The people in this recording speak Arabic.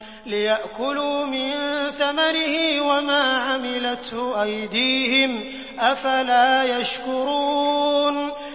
لِيَأْكُلُوا مِن ثَمَرِهِ وَمَا عَمِلَتْهُ أَيْدِيهِمْ ۖ أَفَلَا يَشْكُرُونَ